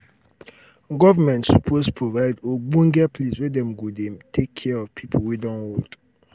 government suppose provide ogbonge place were dem go dey take care of pipo wey don old.